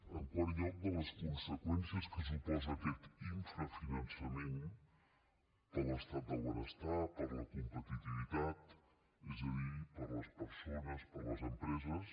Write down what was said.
en quart lloc de les conseqüències que suposa aquest infrafinançament per a l’estat del benestar per a la competitivitat és a dir per a les persones per a les empreses